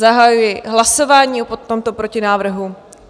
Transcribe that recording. Zahajuji hlasování o tomto protinávrhu.